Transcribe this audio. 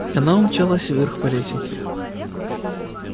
и она умчалась вверх по лестнице